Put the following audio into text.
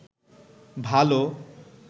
ভালো